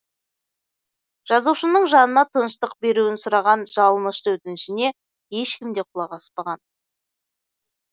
жазушының жанына тыныштық беруін сұраған жалынышты өтінішіне ешкім де құлақ аспаған